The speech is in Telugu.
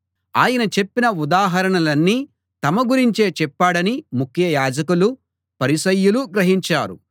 ఆయన చెప్పిన ఉదాహరణలన్నీ తమ గురించే చెప్పాడని ముఖ్య యాజకులు పరిసయ్యులు గ్రహించారు